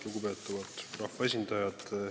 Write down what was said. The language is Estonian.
Lugupeetavad rahvaesindajad!